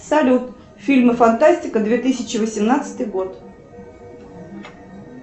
салют фильмы фантастика две тысячи восемнадцатый год